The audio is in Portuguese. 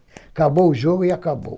Acabou o jogo e acabou.